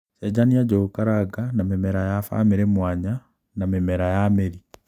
cenjania njūgūkaranga na mimera ya bamïrï mwanya na mïmera ya mïri